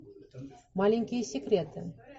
маленькие секреты